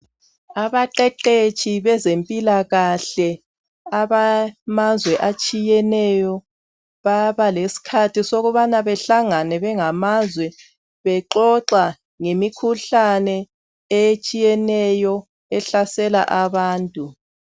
Abaqeqetshi bezempilakahle abamazwe atshiyeneyo baba lesikhathi sokubana behlangane bengamazwe bexoxa ngemikhuhlane etshiyeneyo ehlasela abantu.